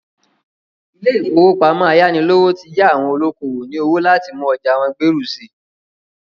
Ilé-ìfowópamọ ayánilówó ti yá àwọn olókowò ní owó láti mú ọjà wọ́n gbèrú sí i.